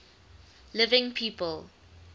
living people